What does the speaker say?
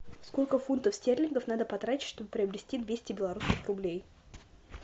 сколько фунтов стерлингов надо потратить чтобы приобрести двести белорусских рублей